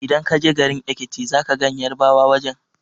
Idan ka je garin Ekiti za ka gan Yarbawa wajen